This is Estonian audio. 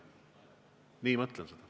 Nii mõtlen seda.